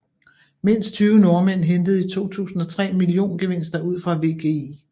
Mindst tyve nordmænd hentede i 2003 milliongevinster ud fra WGI